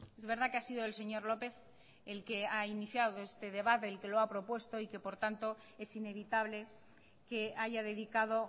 es verdad que ha sido el señor lópez el que ha iniciado este debate el que lo ha propuesto y que por tanto es inevitable que haya dedicado